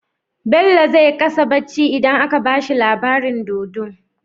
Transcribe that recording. Bello zai ƙasa bacci idan aka bashi labarin dodo